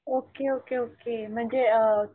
okay okay okay म्हणजे अ